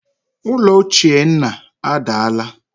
Ụlọ ochie nna adaala